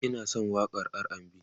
ni Ina San waƙan RAndB